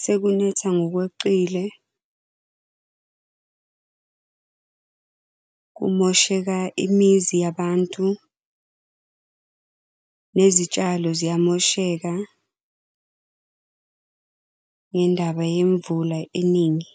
sekunetha ngokweqile kumosheka imizi yabantu, nezitshalo ziyamosheka, ngendaba yemvula eningi.